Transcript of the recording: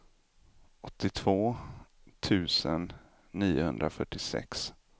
åttiotvå tusen niohundrafyrtiosex